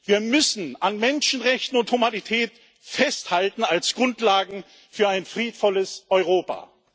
Wir müssen an Menschenrechten und Humanität festhalten als Grundlagen für ein friedvolles Europa!